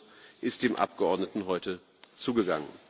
Der Beschluss ist dem Abgeordneten heute zugegangen.